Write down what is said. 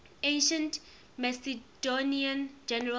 ancient macedonian generals